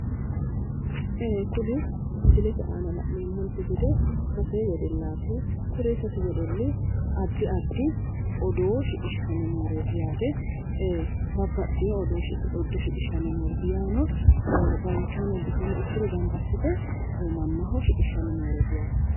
Ee kuni misilete aana la'neemmote gede sase wedellati addi addire odoo shiqishshanni nooreeti, babbaxino odoo shiqishshanni nooreeti yaano danchano bushano ikkiro gamba assite odoo shiqishshanni nooreeti.